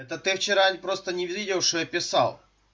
это ты вчера просто не видел что я писал